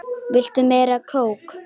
Viltu meira kók?